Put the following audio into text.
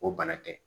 O bana tɛ